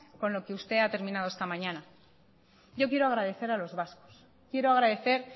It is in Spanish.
con lo que usted ha terminado esta mañana yo quiero agradecer a los vascos quiero agradecer